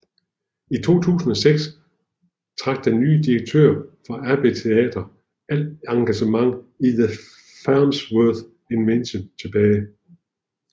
I 2006 trak den nye direktør for Abbey Theatre al engagement i The Farnsworth Invention tilbage